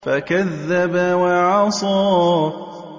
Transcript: فَكَذَّبَ وَعَصَىٰ